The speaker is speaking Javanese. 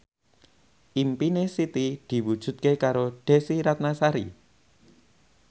impine Siti diwujudke karo Desy Ratnasari